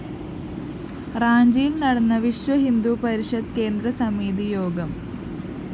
റാഞ്ചിയില്‍ നടന്ന വിശ്വഹിന്ദു പരിഷത്ത് കേന്ദ്രസമിതി യോഗം